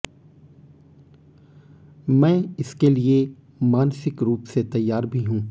मैं इसके लिए मानसिक रूप से तैयार भी हूँ